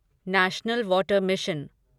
national water mission